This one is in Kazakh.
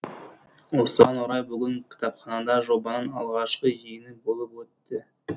осыған орай бүгін кітапханада жобаның алғашқы жиыны болып өтті